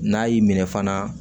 N'a y'i minɛ fana